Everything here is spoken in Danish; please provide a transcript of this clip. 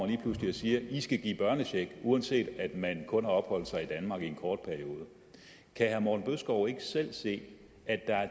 lige pludselig og siger i skal give børnecheck uanset at man kun har opholdt sig i danmark i en kort periode kan herre morten bødskov ikke selv se at der er